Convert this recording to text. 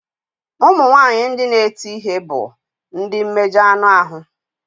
Ụmụ nwanyị ndị na-eti ihe bụ ndị mmejọ anụ ahụ.